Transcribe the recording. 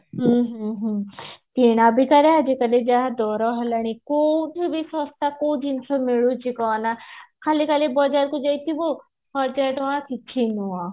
ହୁଁ ହୁଁ ହୁଁ କିଣାବିକା ରେ ଆଜିକାଲି ଯାହା ଦର ହେଲାଣି କୋଉଠି ବି ଶସ୍ତା କୋଉ ଜିନିଷ ମିଳୁଛି କହନା ଖାଲି ଖାଲି ବଜାରକୁ ଯାଇଥିବୁ ହଜାର ଟଙ୍କା କିଛି ନୁହଁ